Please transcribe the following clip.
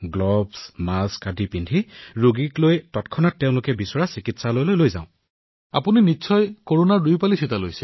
নিজৰ কিট পিন্ধি নিজৰ হাতমোজা পিন্ধি মাস্ক পিন্ধি ৰোগীয়ে যত তেওঁক লৈ যাবলৈ কয় যিকোনো চিকিৎসালয়তে আমি যিমান সম্ভৱ সিমান সোনকালে তেওঁলোকক গন্তব্যস্থানলৈ প্ৰেৰণ কৰো